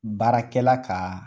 Baarakɛla ka